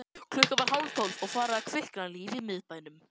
Klukkan var hálftólf og farið að kvikna líf í miðbænum.